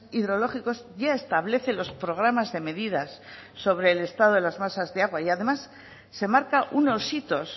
hidrológicos ya establece los programas de medidas sobre el estado de las masas de agua y además se marca unos hitos